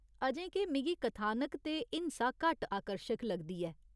अजें के, मिगी कथानक ते हिंसा घट्ट आकर्शक लगदी ऐ।